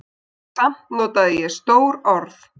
Samt notaði ég stór orð.